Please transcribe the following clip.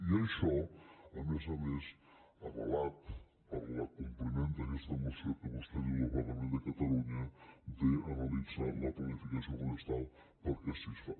i això a més a més avalat per l’acompliment d’aquesta moció que vostè diu del parlament de catalunya d’analitzar la planificació forestal perquè així es fa